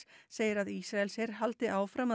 segir að Ísraelsher haldi áfram að